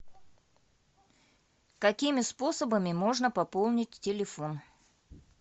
какими способами можно пополнить телефон